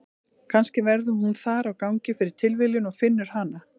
Kannski verður hún þar á gangi fyrir tilviljun og finnur hana.